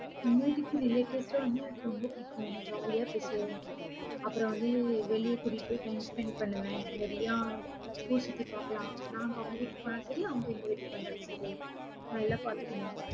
எங்க வீட்டுக்கு relatives எல்லாம் வந்தா எனக்கு ரொம்ப பிடிக்கும். jolly ஆ பேசுவேன். அப்புறம் வந்து, வெளிய கூட்டிட்டு போய் time spend பண்ணுவேன். நிறையா ஊர் சுத்தி பாக்கலாம். நாங்க அவங்க வீட்டுக்கு போனாலும் சரி, அவங்க எங்க வீட்டுக்கு வந்தாலும் சரி, நல்லா பாத்துக்கணும்